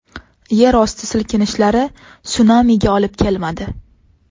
Yerosti silkinishlari sunamiga olib kelmadi.